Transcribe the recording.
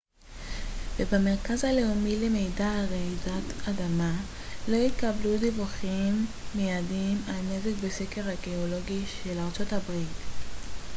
לא התקבלו דיווחים מידיים על נזק בסקר הגאולוגי של ארצות הברית usgs ובמרכז הלאומי למידע על רעידות אדמה